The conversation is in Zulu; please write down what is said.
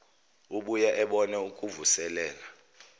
ubuye ubone ukuvuselela